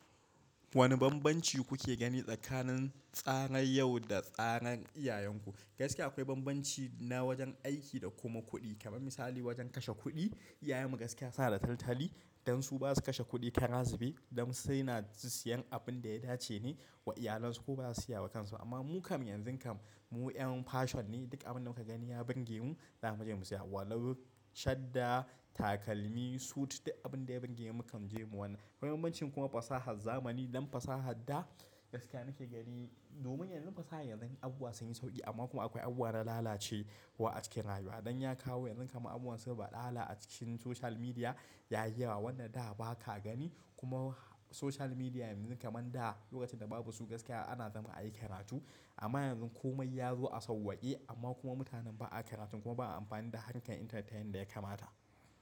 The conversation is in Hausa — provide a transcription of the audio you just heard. Wane bambanci kuke gani tsakanin tsaran yau da tsaran iyayenku? Gaskiya akwai bambanci na wajen aiki da kuma kuɗi. Kamar misali wajen kashe kuɗi, iyayen mu gaskiya suna da taltali, dan su basu kashe kuɗi kara zube, dan suna siyan abun da ya dace ne wa iyalansu ko baza su siya wa kansu ba. Amma mu kam yanzu kam mu yan fashion ne, duk abun da muka gani ya burge mu zamu je mu siya. Walau, shadda, takalmi, suit duk abin da ya burge mu mu kan je mu wannan. Akwai bambancin kuma fasahar zamani, don fasahar da gaskiya nake gani domin yanzun fasahan yanzun abubuwa sun yi sauƙi amma kuma akwai abubuwa na lalace wa a cikin rayuwa. Dan ya kawo yanzu kaman abubuwan su baɗala a cikin social media ya yi yawa. Wanda da ba ka gani kuma social media yanzu kaman da lokacin da babu su gaskiya ana zama ayi karatu amma yanzu komai ya zo a sauwaƙe amma kuma mutanen ba a karatun kuma ba a amfani da harkar internet din yanda ya kamata.